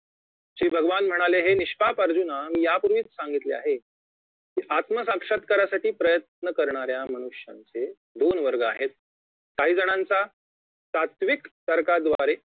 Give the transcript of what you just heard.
श्री भगवान म्हणाले हे निष्पाप अर्जुना मी यापूर्वीच सांगितले आहे की आत्मसाक्षात्कारासाठी प्रयन्त करणाऱ्या मनुष्याचे दोन वर्ग आहेत काही जणांचा सात्विक तर्काद्वारे